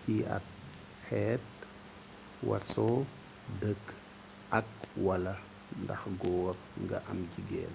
ciy at xeet waaso dëkk ak/wala ndax góor nga am jigéen